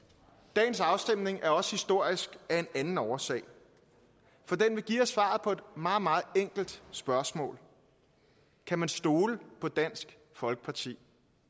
dagens afstemning er også historisk af en anden årsag for den vil give os svaret på et meget meget enkelt spørgsmål kan man stole på dansk folkeparti